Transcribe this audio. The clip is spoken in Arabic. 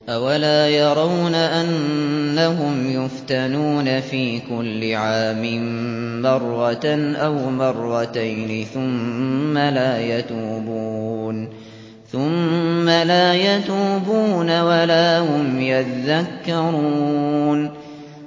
أَوَلَا يَرَوْنَ أَنَّهُمْ يُفْتَنُونَ فِي كُلِّ عَامٍ مَّرَّةً أَوْ مَرَّتَيْنِ ثُمَّ لَا يَتُوبُونَ وَلَا هُمْ يَذَّكَّرُونَ